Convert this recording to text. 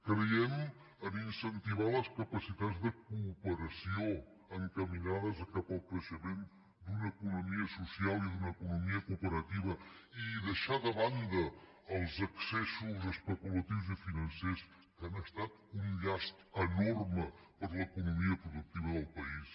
creiem en el fet d’incentivar les capacitats de cooperació encaminades cap al creixement d’una economia social i d’una economia cooperativa i deixar de banda els excessos especulatius i financers que han estat un llast enorme per a l’economia productiva del país